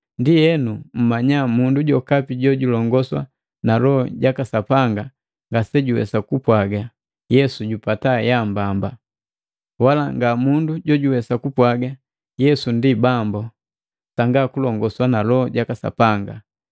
Ndienu mmanya mundu jokapi jojulongoswa na Loho jaka Sapanga ngasejuwesa kupwaga, “Yesu jupata yambamba!” Wala nga mundu jojuwesa kupwaga, “Yesu ndi Bambu,” Sanga kulongoswa na Loho jaka Sapanga.